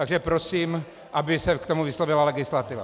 Takže prosím, aby se k tomu vyslovila legislativa.